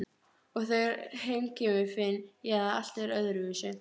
Og þegar heim kemur finn ég að allt er öðruvísi.